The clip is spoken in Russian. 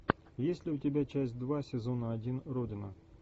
есть ли у тебя часть два сезона один родина